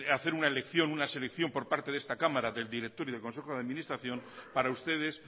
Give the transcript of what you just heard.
hacer una selección por parte de esta cámara del director y del consejo de administración para ustedes